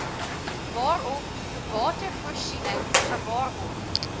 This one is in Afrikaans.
waarop watervoorsiening gewaarborg